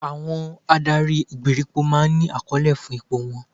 Àwọn adarí ìgbèríko máa ń ní àkọlé fún ipò wọn